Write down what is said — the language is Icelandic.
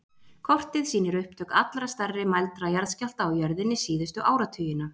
Kortið sýnir upptök allra stærri mældra jarðskjálfta á jörðinni síðustu áratugina.